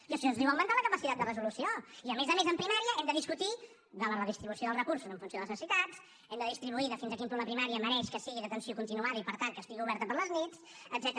i això es diu augmentar la capacitat de resolució i a més a més en primària hem de discutir de la redistribució dels recursos en funció de les necessitats hem de discutir de fins a quin punt la primària mereix que sigui d’atenció continuada i per tant que estigui oberta a les nits etcètera